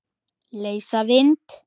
Leysa vind?